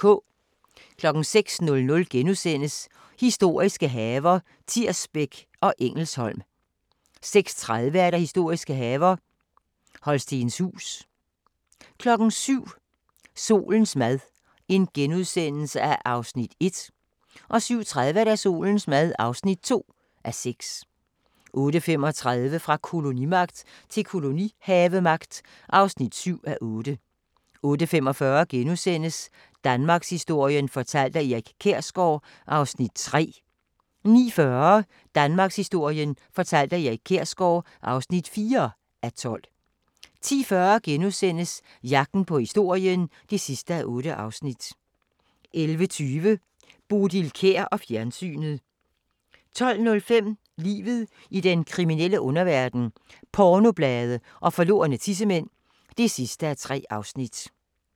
06:00: Historiske haver – Tirsbæk og Engelsholm * 06:30: Historiske haver – Holstenshuus 07:00: Solens mad (1:6)* 07:30: Solens mad (2:6) 08:35: Fra kolonimagt til kolonihavemagt (7:8) 08:45: Danmarkshistorien fortalt af Erik Kjersgaard (3:12)* 09:40: Danmarkshistorien fortalt af Erik Kjersgaard (4:12) 10:40: Jagten på historien (8:8)* 11:20: Bodil Kjer og fjernsynet 12:05: Livet i den kriminelle underverden - pornoblade og forlorne tissemænd (3:3)*